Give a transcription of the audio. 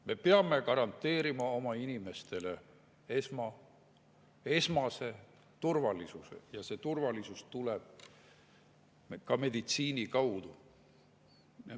Me peame garanteerima oma inimestele esmase turvalisuse ja turvalisus tuleb ka meditsiini kaudu.